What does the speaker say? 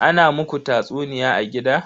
Ana muku tatsuniya a gida?